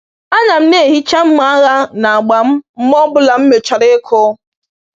A na m na-ehicha mma agha na agba m mgbe ọ bụla m mechara ịkụ.